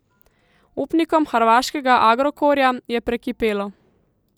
Upnikom hrvaškega Agrokorja je prekipelo.